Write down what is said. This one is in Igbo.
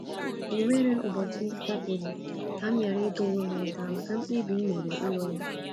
O nweghi ụbọchị gafere ka m ghara ịta onwe m ụta maka mkpebi m mere ịlụ ya.